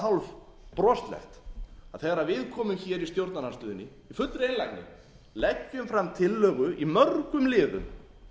er það hálfbroslegt þegar við komum hér í stjórnarandstöðunni í fullri einlægni og leggjum fram tillögu í mörgum liðum